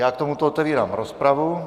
Já k tomuto otevírám rozpravu.